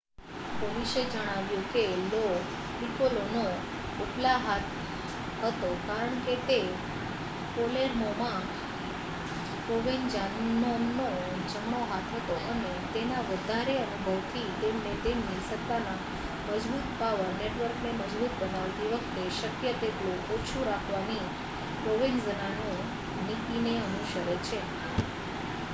પોલીસે જણાવ્યું કે લો પીકોલોનો ઉપલા હાથ હતો કારણ કે તે પાલેર્મોમાં પ્રોવેન્ઝાનોનો જમણો હાથ હતો અને તેના વધારે અનુભવથી તેમને તેમની સત્તાના મજબુત પાવર નેટવર્કને મજબૂત બનાવતી વખતે શક્ય તેટલું ઓછું રાખવાની પ્રોવેન્ઝાનો નીતિને અનુસરે છે